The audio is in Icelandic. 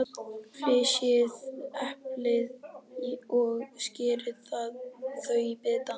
Flysjið eplin og skerið þau í bita.